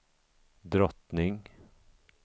drottning